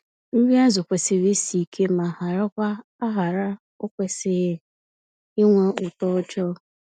Nri azụ kwesịrị isi ike ma harakwa-ahara- okwesịghị ịnwe ụtọ ọjọọ.